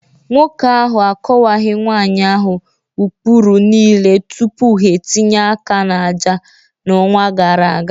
Nwoke ahụ akọwaghị nwanyị ahụ ụkpụrụ niile tupu ha etinye aka n'àjà ha n'ọnwa gara aga